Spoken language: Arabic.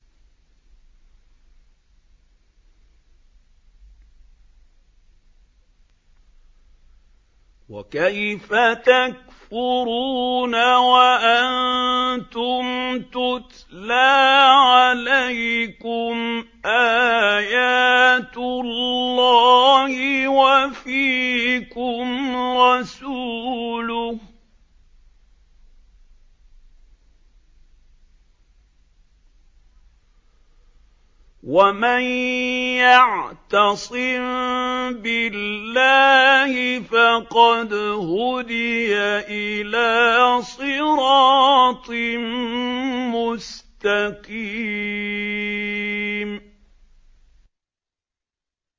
وَكَيْفَ تَكْفُرُونَ وَأَنتُمْ تُتْلَىٰ عَلَيْكُمْ آيَاتُ اللَّهِ وَفِيكُمْ رَسُولُهُ ۗ وَمَن يَعْتَصِم بِاللَّهِ فَقَدْ هُدِيَ إِلَىٰ صِرَاطٍ مُّسْتَقِيمٍ